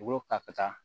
U b'o ta ka taa